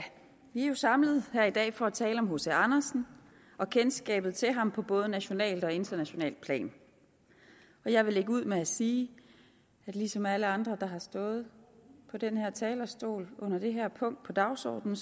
vi er samlet her i dag for at tale om hc andersen og kendskabet til ham på både nationalt og internationalt plan jeg vil lægge ud med at sige at ligesom alle andre der har stået på den her talerstol under det her punkt på dagsordenen